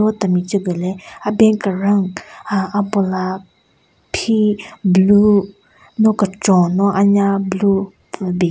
Temi tsü gu le aben keran aahh abula phi blue no kechon no anya blue pvübin.